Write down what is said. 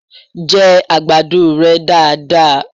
jẹ àgbàdo rẹ daradara!